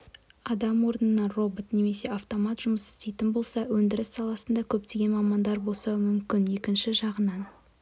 адам орнына робот немесе автомат жұмыс істейтін болса өндіріс саласында көптеген мамандар босауы мүмкін екінші жағынан